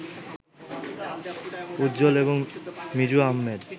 উজ্জ্বল এবং মিজু আহমেদ